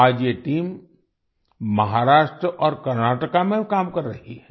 आज ये टीम महाराष्ट्र और कर्नाटका में काम कर रही है